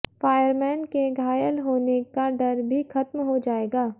fireman के घायल होने का डर भी खत्म हो जाएगा